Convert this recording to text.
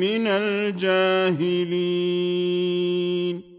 مِّنَ الْجَاهِلِينَ